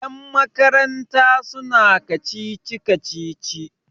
yanmakaranta suna kacici-kacici